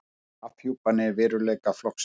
Afhjúpar veikleika flokksins